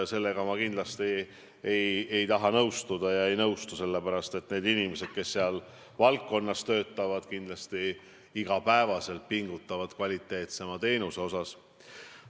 Sellega ma kindlasti ei taha nõustuda ega nõustu sellepärast, et need inimesed, kes seal valdkonnas töötavad, kindlasti pingutavad iga päev kvaliteetsema teenuse nimel.